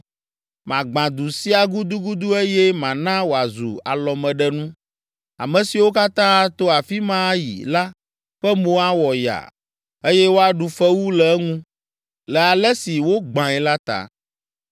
Magbã du sia gudugudu eye mana wòazu alɔmeɖenu. Ame siwo katã ato afi ma ayi la ƒe mo awɔ yaa eye woaɖu fewu le eŋu le ale si wogbãe la ta.